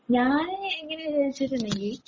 ഞാൻ ഇങ്ങനെ വിചാരിച്ചിട്ടൊന്നും ഇല്യേ